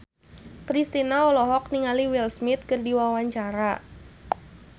Kristina olohok ningali Will Smith keur diwawancara